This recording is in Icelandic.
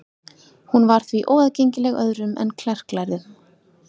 Hún var því óaðgengileg öðrum en klerklærðum.